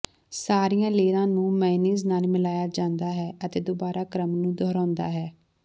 ਸਾਰੀਆਂ ਲੇਅਰਾਂ ਨੂੰ ਮੇਅਨੀਜ਼ ਨਾਲ ਮਿਲਾਇਆ ਜਾਂਦਾ ਹੈ ਅਤੇ ਦੁਬਾਰਾ ਕ੍ਰਮ ਨੂੰ ਦੁਹਰਾਉਂਦਾ ਹੈ